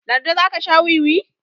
lardi za ka Sha wiwi?